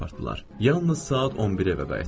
Yalnız saat 11-ə evə qayıtdım.